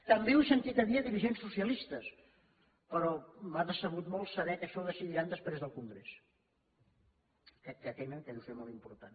també ho he sentit a dir a dirigents socialistes però m’ha decebut molt saber que això ho decidiran després del congrés aquest que tenen que deu ser molt important